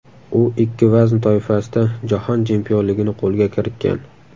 U ikki vazn toifasida Jahon chempionligini qo‘lga kiritgan.